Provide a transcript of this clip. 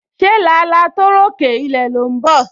Se làálàá tó ròkè ilẹ̀ ló ń bọ̀?